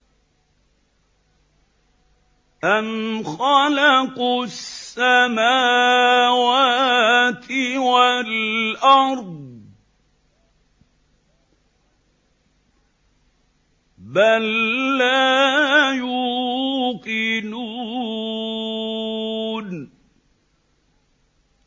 أَمْ خَلَقُوا السَّمَاوَاتِ وَالْأَرْضَ ۚ بَل لَّا يُوقِنُونَ